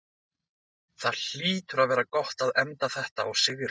Það hlýtur að vera gott að enda þetta á sigri?